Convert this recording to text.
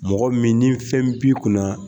Mɔgɔ min ni fɛn b'i kunna